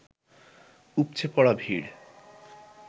উপচে পড়া ভিড়